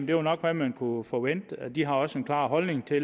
det nok hvad man kunne forvente de har også en klar holdning til